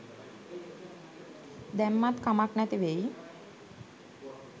දැම්මත් කමක් නැති වෙයි.